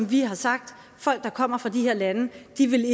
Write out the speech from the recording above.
vi har sagt at folk der kommer fra de her lande